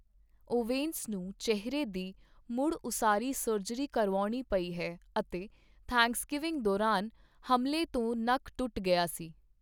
Owens ਨੂੰ ਚਿਹਰੇ ਦੀ ਮੁੜ ਉਸਾਰੀ ਸਰਜਰੀ ਕਰਵਾਉਣੀ ਪਈ ਹੈ ਅਤੇ ਥੈਂਕਸਗਿਵਿੰਗ ਦੌਰਾਨ ਹਮਲੇ ਤੋਂ ਨੱਕ ਟੁੱਟ ਗਈ ਸੀ।